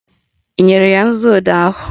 Ị nyere ya nzuodee ahụ?